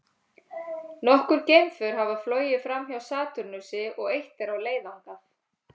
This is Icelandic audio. Nokkur geimför hafa flogið framhjá Satúrnusi og eitt er á leið þangað.